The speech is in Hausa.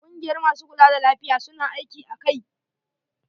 Kungiyar masu kula da lafiya, su na aiki a kai.